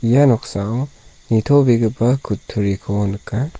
ia noksao nitobegipa kutturiko nika.